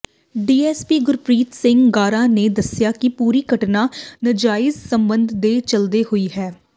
DSP Gurpreet Singh Gara ਨੇ ਦੱਸਿਆ ਕਿ ਪੂਰੀ ਘਟਨਾ ਨਾਜਾਇਜ਼ ਸਬੰਧ ਦੇ ਚਲਦੇ ਹੋਈ ਹੈ